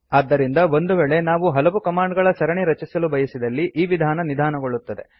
ಆದ್ದರಿಂದ ಒಂದು ವೇಳೆ ನಾವು ಹಲವು ಕಮಾಂಡ್ ಗಳ ಸರಣಿ ರಚಿಸಲು ಬಯಸಿದರೆ ಈ ವಿಧಾನ ನಿಧಾನಗೊಳ್ಳುತ್ತದೆ